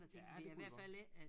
Ja det kunne det godt